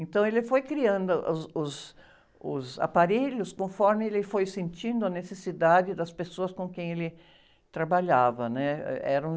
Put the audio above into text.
Então, ele foi criando os, os, os aparelhos conforme ele foi sentindo a necessidade das pessoas com quem ele trabalhava, né? Eh, eram...